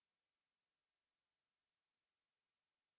spoken tutorial talk to a teacher প্রকল্পের অংশবিশেষ